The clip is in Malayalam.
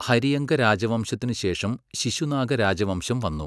ഹരിയങ്ക രാജവംശത്തിന് ശേഷം ശിശുനാഗ രാജവംശം വന്നു.